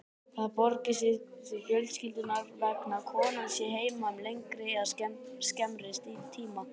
Það borgi sig því fjölskyldunnar vegna að konan sé heima um lengri eða skemmri tíma.